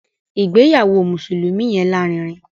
ìgbéyàwó mùsùlùmí yẹn lárinrin.